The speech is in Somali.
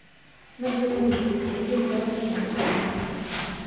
Ma jiraan Masiixiyiin badan kaniisaddaha maalmahan